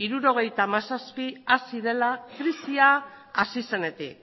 hirurogeita hamazazpi hasi dela krisia hasi zenetik